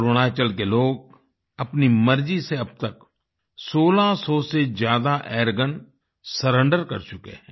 अरुणाचल के लोग अपनी मर्जी से अब तक 1600 से ज्यादा एयरगन सरेंडर कर चुके हैं